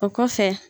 O kɔfɛ